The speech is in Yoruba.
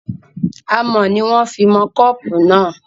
Amọ̀ ni wọn fí mọ kọ́pù náà